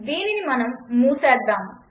దీనిని మనం మూసేద్దాం